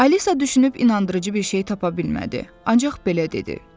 Alisa düşünüb inandırıcı bir şey tapa bilmədi, ancaq belə dedi: